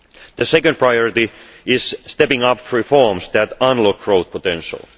The second priority is stepping up reforms that unlock growth potential.